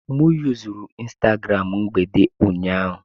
M yuzuru Instagram mgbede ụnyaahụ.